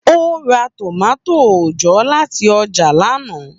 Ó ra tomati òòjọ́ láti ọjà lana.